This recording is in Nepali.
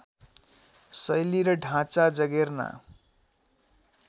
शैली र ढाँचा जगेर्ना